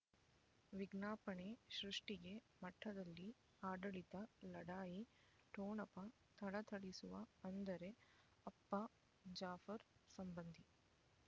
ವಿಜ್ಞಾಪನೆ ಸೃಷ್ಟಿಗೆ ಮಠದಲ್ಲಿ ಆಡಳಿತ ಲಢಾಯಿ ಠೊಣಪ ಥಳಥಳಿಸುವ ಅಂದರೆ ಅಪ್ಪ ಜಾಫರ್ ಸಂಬಂಧಿ